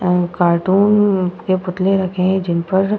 अ cartoon के पुतले रखे हैं जिनपर --